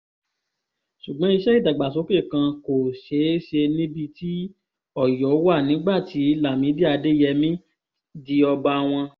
ṣùgbọ́n iṣẹ́ ìdàgbàsókè kan kò ṣeé ṣe níbi tí ọ̀yọ́ wà nígbà tí lámìdí adeyemi di ọba wọn